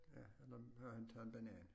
Ja eller han tager en banan